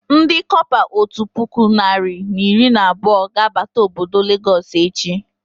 Ndị kọpa otu puku narị na iri na abụọ ga abata obodo Lagos echi